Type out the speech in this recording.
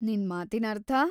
ನಿನ್ ಮಾತಿನರ್ಥ?